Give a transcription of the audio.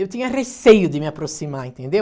Eu tinha receio de me aproximar, entendeu?